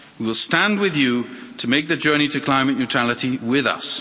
We will stand with you to make the journey to climate neutrality with us.